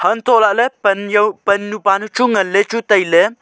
antoh lahle pan jaw pannu pa chu nganley chu tailey.